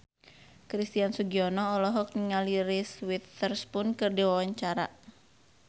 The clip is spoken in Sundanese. Christian Sugiono olohok ningali Reese Witherspoon keur diwawancara